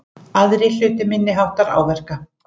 Aðrir hlutu minniháttar áverka